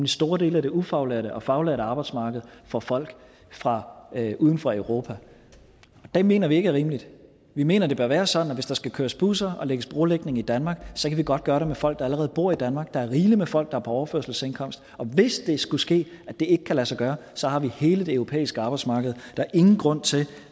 store dele af det ufaglærte og faglærte arbejdsmarked for folk fra uden for europa det mener vi ikke er rimeligt vi mener det bør være sådan at hvis der skal køres busser og lægges brolægning i danmark så kan vi godt gøre det med folk der allerede bor i danmark der er rigeligt med folk der er på overførselsindkomst og hvis det skulle ske at det ikke kan lade sig gøre så har vi hele det europæiske arbejdsmarked der er ingen grund til